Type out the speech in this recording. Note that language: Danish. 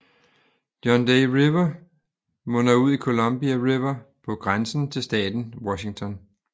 John Day River munder ud i Columbia River på grænsen til staten Washington